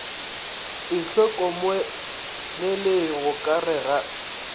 itlhokomeleng go ka re ga